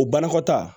O banakɔtaa